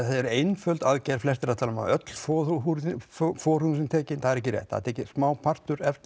er einföld aðgerð flestir eru að öll forhúðin forhúðin sé tekin en það er ekki rétt því er tekinn smá partur efst